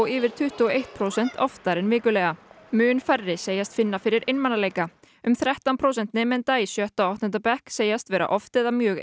yfir tuttugu og eitt prósent oftar en vikulega mun færri segjast finna fyrir einmanaleika um þrettán prósent nemenda í bæði sjötta og áttunda bekk segjast vera oft eða mjög